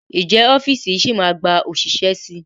Ǹjẹ́ ọ́fíìsì yìí máa gba òṣìṣẹ́ síi?